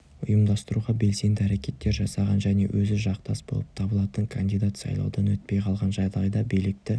ұйымдастыруға белсенді әрекеттер жасаған және өзі жақтас болып табылатын кандидат сайлаудан өтпей қалған жағдайда билікті